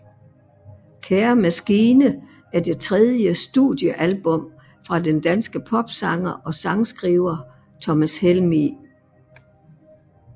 Kære maskine er det tredje studiealbum fra den danske popsanger og sangskriver Thomas Helmig